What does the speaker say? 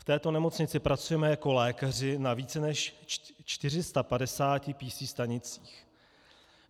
V této nemocnici pracujeme jako lékaři na více než 450 PC stanicích.